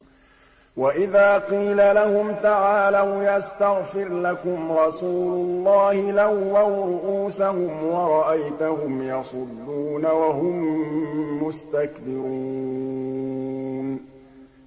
وَإِذَا قِيلَ لَهُمْ تَعَالَوْا يَسْتَغْفِرْ لَكُمْ رَسُولُ اللَّهِ لَوَّوْا رُءُوسَهُمْ وَرَأَيْتَهُمْ يَصُدُّونَ وَهُم مُّسْتَكْبِرُونَ